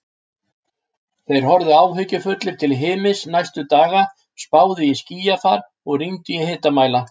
Þeir horfðu áhyggjufullir til himins næstu daga, spáðu í skýjafar og rýndu í hitamæla.